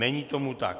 Není tomu tak.